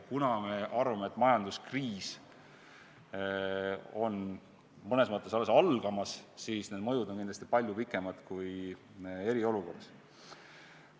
Kuna me arvame, et majanduskriis on mõnes mõttes alles algamas, siis need mõjud kestavad kindlasti palju pikemalt, mitte ainult eriolukorras.